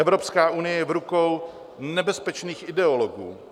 Evropská unie je v rukou nebezpečných ideologů.